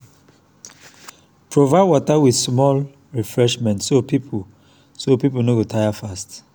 provide water and small refreshment so people so people no go tire fast.